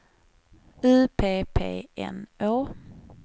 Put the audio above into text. U P P N Å